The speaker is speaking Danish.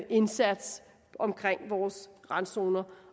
indsats omkring vores randzoner